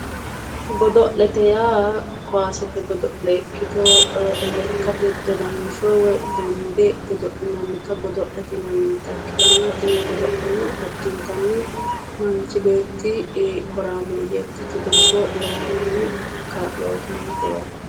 Godo'lete yaa kaasete godo'le ikkito lekkate dodansho woyi donde godo'linannita ikkitanna tini godo'leno addintanni manchi beetti horaameeyye ikkate lowohunni kaa'lo uyitannote yaate